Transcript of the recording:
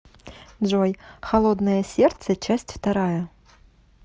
джой холодное сердце часть вторая